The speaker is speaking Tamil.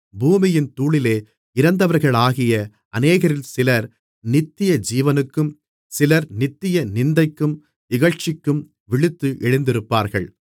பூமியின் தூளிலே இறந்தவர்களாகிய அநேகரில் சிலர் நித்தியஜீவனுக்கும் சிலர் நித்திய நிந்தைக்கும் இகழ்ச்சிக்கும் விழித்து எழுந்திருப்பார்கள்